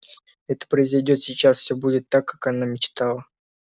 это произойдёт сейчас всёмбудет так как она мечтала